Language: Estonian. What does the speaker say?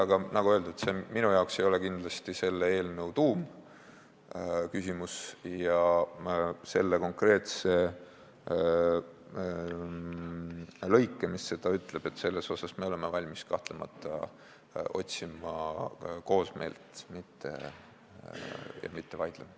Aga nagu öeldud, ei ole see minu jaoks kindlasti mitte selle eelnõu tuumküsimus ja selle konkreetse lõike osas, mis seda ütleb, oleme me kahtlemata valmis otsima koosmeelt, mitte vaidlema.